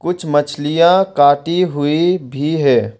कुछ मछलियां काटी हुई भी है।